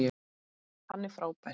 Hann er frábær.